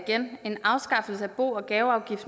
have bo og gaveafgift